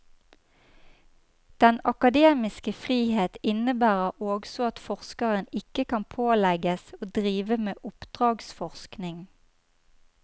Den akademiske frihet innebærer også at forskeren ikke kan pålegges å drive med oppdragsforskning.